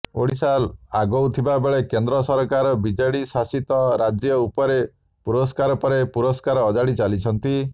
ଓଡ଼ିଶା ଆଗଉଥିବାବେଳେ କେନ୍ଦ୍ର ସରକାର ବିଜେଡି ଶାସିତ ରାଜ୍ୟ ଉପରେ ପୁରସ୍କାର ପରେ ପୁରସ୍କାର ଅଜାଡ଼ି ଚାଲିଛନ୍ତି